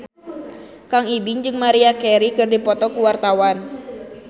Kang Ibing jeung Maria Carey keur dipoto ku wartawan